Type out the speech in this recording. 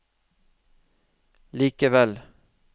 likevel